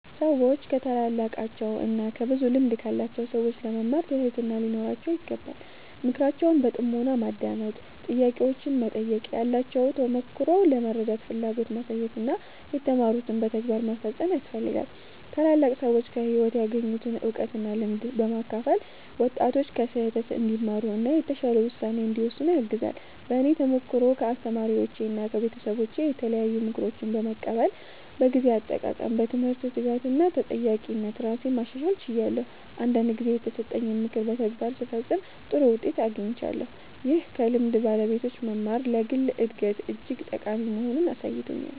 ሰዎች ከታላላቃቸው እና ከብዙ ልምድ ካላቸው ሰዎች ለመማር ትህትና ሊኖራቸው ይገባል። ምክራቸውን በጥሞና ማዳመጥ፣ ጥያቄዎችን መጠየቅ፣ ያላቸውን ተሞክሮ ለመረዳት ፍላጎት ማሳየት እና የተማሩትን በተግባር መፈጸም ያስፈልጋል። ታላላቅ ሰዎች ከህይወት ያገኙትን እውቀት እና ልምድ በማካፈል ወጣቶች ከስህተት እንዲማሩ እና የተሻለ ውሳኔ እንዲወስኑ ያግዛሉ። በእኔ ተሞክሮ ከአስተማሪዎቼና ከቤተሰቦቼ የተለያዩ ምክሮችን በመቀበል በጊዜ አጠቃቀም፣ በትምህርት ትጋት እና በተጠያቂነት ራሴን ማሻሻል ችያለሁ። አንዳንድ ጊዜ የተሰጠኝን ምክር በተግባር ስፈጽም ጥሩ ውጤት አግኝቻለሁ፣ ይህም ከልምድ ባለቤቶች መማር ለግል እድገት እጅግ ጠቃሚ መሆኑን አሳይቶኛል።